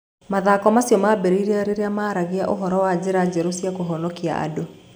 Mathako macio maambĩrĩirie rĩrĩa maaragia ũhoro wa njĩra njerũ cia kũhonokia andũ.